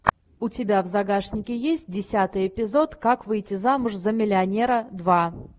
у тебя в загашнике есть десятый эпизод как выйти замуж за миллионера два